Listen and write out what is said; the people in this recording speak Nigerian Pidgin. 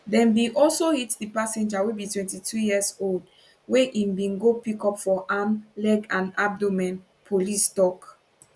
dem bin also hit di passenger wey be 22 years old wey im bin go pick up for arm leg and abdomen police tok